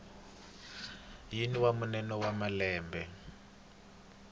wihi wa mune wa malembe